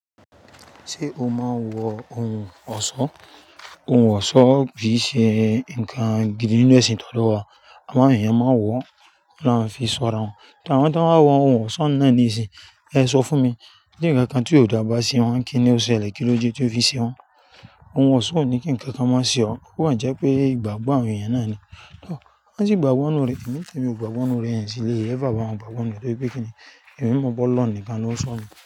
Ṣé o máa ń wọ ohun ọ̀ṣọ́? Ohun ọ̀ṣọ́ kì í ṣe ǹkan gidi nínú ẹ̀sìn ti odo wa Àwọn ènìyàn máa ń wọ̀, won ni awon fi sọ ara wọn. Ati àwọn tí wọ́n á wọ ohun ọ̀ṣọ́ náà ní ìsìn yii, ẹ sọ fún mi. Ti ǹkankan tí ó dà bá se wọn, kíni ó ṣẹlẹ̀, kín ló dé tí ó fi ṣe wọ̀n? Ohun ọ̀ṣọ́ ò ní kí ǹkankan mo ṣe ọ. Ó kan jẹ́ pé ìgbàgbọ́ àwọn ènìyàn náà ni. Tọ̀, wọ́n sì gbàgbọ́ ninù rẹ. Èmi ni tèmi ò, n gbàgbọ́ nù rẹ̀, n sí le ever bá wọn gbàgbọ́ ninù rẹ̀ tori pe kí ni? Èmi mọ̀ pe Olohun nìkan ló ń sọ mi.